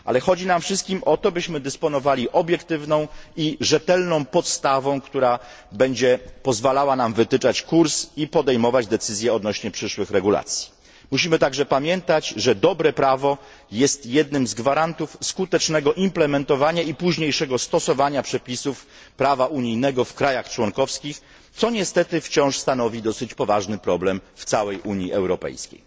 Wszystkim nam chodzi jednak o to, byśmy dysponowali obiektywną i rzetelną podstawą, która będzie pozwalała nam wytyczać kurs i podejmować decyzje odnośnie do przyszłych regulacji. Musimy także pamiętać, że dobre prawo jest jednym z gwarantów skutecznego wdrażania i późniejszego stosowania przepisów prawa unijnego w krajach członkowskich, co niestety wciąż stanowi dosyć poważny problem w całej Unii Europejskiej.